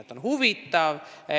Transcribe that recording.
See on huvitav.